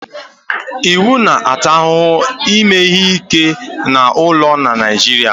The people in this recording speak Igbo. iwu na-ata ahụhụ ime ihe ike n'ụlọ na Naịjirịa